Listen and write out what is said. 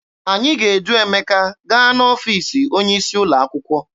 Anyị ga-edu Emeka gaa n'ọfiisi onye isi ụlọ akwụkwọ.